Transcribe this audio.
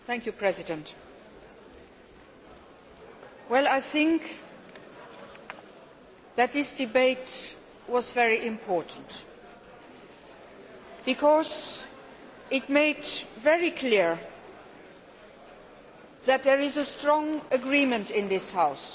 Madam President, I think that this debate was very important because it made very clear that there is a strong agreement in this House,